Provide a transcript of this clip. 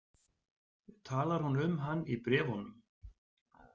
Talar hún um hann í bréfunum?